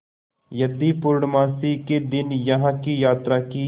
यदि पूर्णमासी के दिन यहाँ की यात्रा की